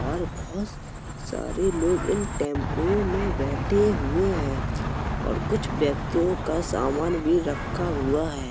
और बहुत सारे लोग ईन टेम्पुओं में बैठे हुए हैं और कुछ व्यक्तियों का समान भी रखा हुआ है ।